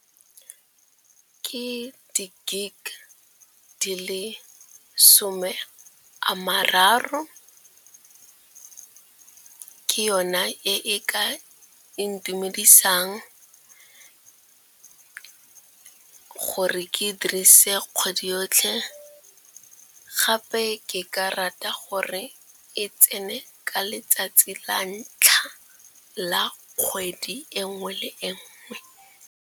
Ke di gig di le some a mararo, ke yona e ka intumedisang gore ke kgone go dirisa kgwedi yotlhe. Gape ke ka rata gore e tsene ka letsatsi la ntlha la kgwedi nngwe le nngwe.